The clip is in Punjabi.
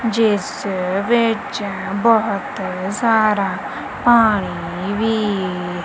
ਜਿਸ ਵਿੱਚ ਬਹੁਤ ਸਾਰਾ ਪਾਣੀ ਵੀ--